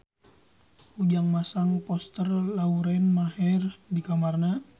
Ujang masang poster Lauren Maher di kamarna